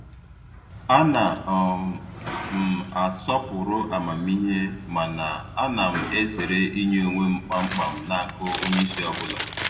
A na um m asọpụrụ amamihe mana ana m ezere inye onwe m kpamkpam n'aka onye isi ọbụla.